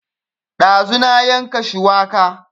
Ɗazu na yanka shuwaka